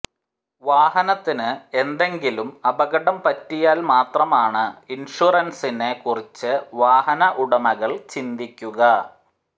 വാഹനത്തിന് എന്തെങ്കിലും അപകടംപറ്റിയാൽ മാത്രമാണ് ഇൻഷറൻസിനെ കുറിച്ച് വാഹന ഉടമകൾ ചിന്തിക്കുക